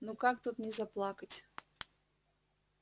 ну как тут не заплакать